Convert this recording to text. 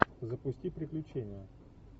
запусти приключения